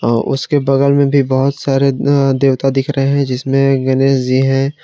उसके बगल में भी बहुत सारे अह देवता दिख रहे हैं जिसमें गणेश जी हैं।